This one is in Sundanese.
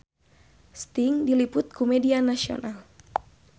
Sting diliput ku media nasional